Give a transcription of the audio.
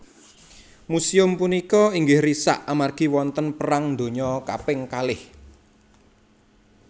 Musèum punika inggih risak amargi wonten perang dunya kaping kalih